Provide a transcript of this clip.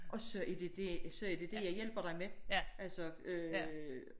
Og så er det det så er det det jeg hjælper dig med altså